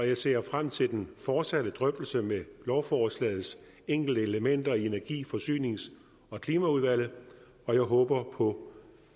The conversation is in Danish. jeg ser frem til den fortsatte drøftelse om lovforslagets enkelte elementer i energi forsynings og klimaudvalget og jeg håber på